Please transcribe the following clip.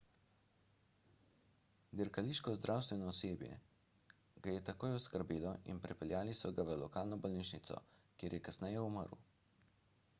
dirkališko zdravstveno osebje ga je takoj oskrbelo in prepeljali so ga v lokalno bolnišnico kjer je kasneje umrl